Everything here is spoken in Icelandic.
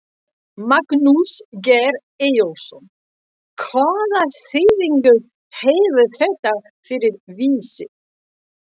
Magnús Geir Eyjólfsson: Hvaða þýðingu hefur þetta fyrir Vísi?